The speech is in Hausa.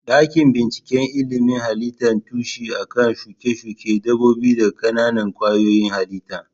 Dakin bincikan ilimin halitta tushe a kan shuke-shuke dabbobi da ƙananan kwayoyin halitta.